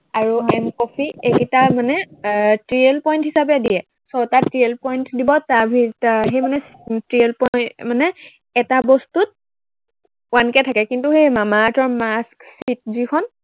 আৰু M coffee এইকেইটা মানে এৰ TL point হিচাপে দিয়ে, ছয়টা TL point দিব, তাৰ ভিতৰত সি মানে TL point মানে এটা বস্তুত one কে থাকে কিন্তু সেই মামা আৰ্থৰ mask sheet যিখন